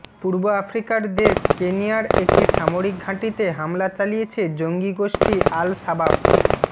পূর্ব আফ্রিকার দেশ কেনিয়ার একটি সামরিক ঘাঁটিতে হামলা চালিয়েছে জঙ্গি গোষ্ঠী আল শাবাব